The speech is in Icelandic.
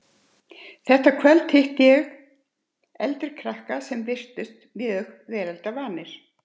Þar hitti ég kvöld eitt eldri krakka sem virtust mjög veraldarvanir.